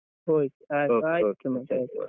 Okay.